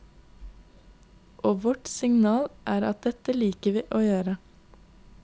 Og vårt signal er at dette liker vi å gjøre.